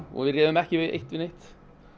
og við réðum ekki við eitt né neitt